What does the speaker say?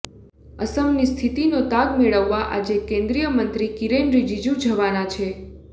અસમની સ્થિતિનો તાગ મેળવવા આજે કેન્દ્રીય મંત્રી કિરેન રિજીજુ જવાના છે